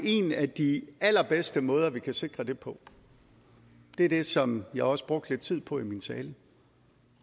en af de allerbedste måder vi kan sikre det på er det som jeg også brugte lidt tid på i min tale